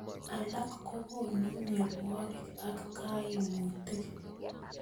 Alak kokonu mnyonwokik ak kaimutik.